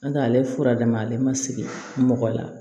N'o tɛ ale fura d'a ma ale ma sigi mɔgɔ la